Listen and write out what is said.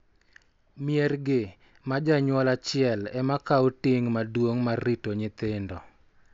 Mier gi, ma janyuol achiel ema kawo ting� maduong� mar rito nyithindo,